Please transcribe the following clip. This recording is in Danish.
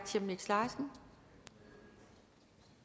chemnitz larsen